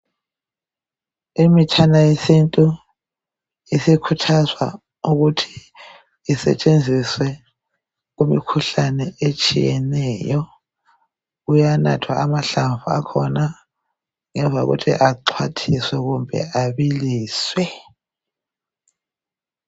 imitshana yesintu isikhuthazwa ukuthi isetshenziswe kumikhuhlane etshiyeneyo kuyanathwa amahlamvu akhona ngemva kokuthi axwathiswe kumbe abiliswe